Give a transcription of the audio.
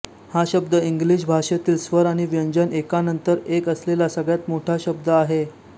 हा शब्द इंग्लिशभाषेतील स्वर आणि व्यंजन एकानंतरएक असलेला सगळ्यात मोठा शब्द आहे